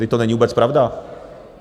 Vždyť to není vůbec pravda.